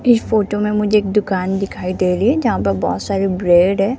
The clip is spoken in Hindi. इस फोटो में मुझे दुकान दिखाई दे रही है जहां पे बहोत सारी ब्रेड है।